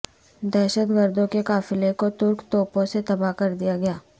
دہشت گردوں کے قافلے کو ترک توپوں سے تباہ کر دیا گیا